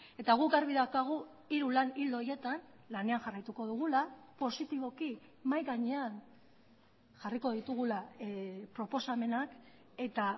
eta guk garbi daukagu hiru lan ildo horietan lanean jarraituko dugula positiboki mahai gainean jarriko ditugula proposamenak eta